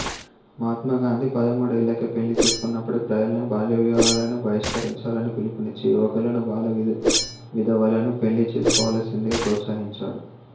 మహాత్మా గాంధీ పదమూడేళ్ళకే పెళ్ళి చేసుకున్నప్పటికీ ప్రజలను బాల్యవివాహాలను బహిష్కరించాలని పిలుపునిచ్చి యువకులను బాల విధవలను పెళ్ళి చేసుకోవలసిందిగా ప్రోత్సహించాడు